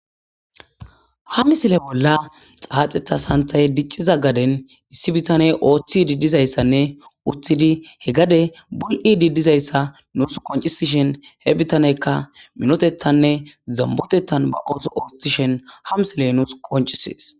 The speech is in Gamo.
Ha misile bolla xaaxeththa sanththey dicciza gaden issi bitaney oothtihdi dizayssanne uttidi he gade buli'idi dizayssa nuusi qonccisishin he bitaneykka minotatanne zambbotetan ba ooso ooththishin ha misiley nuusi qonccises.